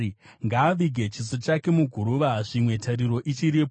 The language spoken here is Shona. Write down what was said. Ngaavige chiso chake muguruva, zvimwe tariro ichiripo.